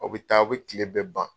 Aw bɛ taa , aw bɛ tile bɛ ban.